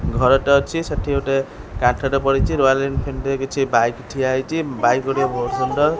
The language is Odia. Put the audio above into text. ଘରଟେ ଅଛି ସେଠି ଗୋଟେ କାନ୍ଥଟେ ପଡ଼ିଚି ରୟାଲ ଇନ୍ଫିଲ୍ଡ ରେ କିଛି ବାଇକ୍ ଠିଆ ହେଇଚି ବାଇକ୍ ଗୁଡ଼ିକ ବୋହୁତ୍ ସୁନ୍ଦର।